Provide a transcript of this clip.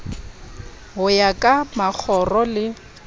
ho ya ka makgoro le